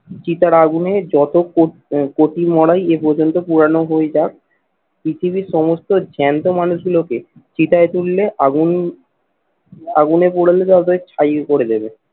চিতার আগুনে যত কো কোটি মারাই এ পর্যন্ত পুরানো হয়ে যাক পৃথিবীর সমস্ত জ্যান্ত মানুষগুলোকে চিতায় তুললে আগুন, আগুনে পোড়ালে তবে ছাই পড়ে দেবে।